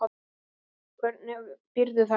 Hvernig býrðu þarna úti?